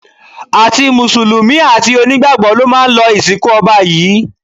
Àti mùsùlùmí, àti onígbàgbọ́ ló máa lọ ìsìnkú ọba yìí